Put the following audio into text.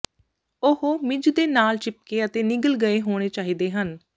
ਉਹ ਮਿੱਝ ਦੇ ਨਾਲ ਚਿਪਕੇ ਅਤੇ ਨਿਗਲ ਗਏ ਹੋਣੇ ਚਾਹੀਦੇ ਹਨ